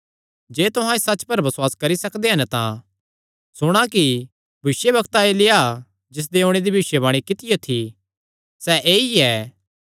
जे तुहां इस सच्च पर बसुआस करी सकदे हन तां सुणा कि भविष्यवक्ता एलिय्याह जिसदे ओणे दी भविष्यवाणी कित्तियो थी सैह़ ऐई ऐ